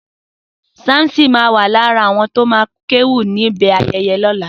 Samson ma wà lára àwọn tó ma kéwì níbi ayẹyẹ lọ́la